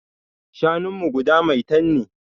Shanunmu guda maitan ne.